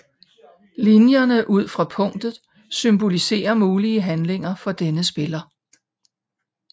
Linjerne ud fra punktet symboliserer mulige handlinger for denne spiller